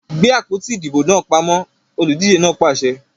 Gbe àpótí ìdìbò pamọ! Olùdíje náà pàṣẹ!